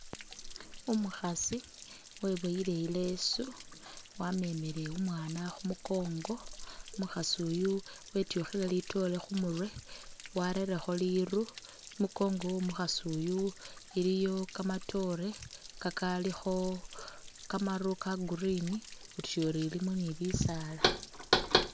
Umukhasi weboyile ilesu wamemile umwana khumukongo umukhasi uyu wetukhile litoore khumurwe warerekho riru i'munkongo womukhasi uyu iliyo kamatoore kakalikho kamaru ka'green utuyori ilimo ni bisaala